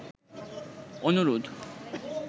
অনুরোধ